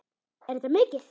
Er þetta mikið?